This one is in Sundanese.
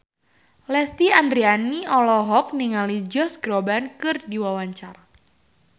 Lesti Andryani olohok ningali Josh Groban keur diwawancara